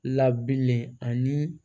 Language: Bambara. Labilen ani